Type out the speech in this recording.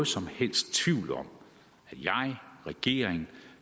som helst tvivl om at jeg regeringen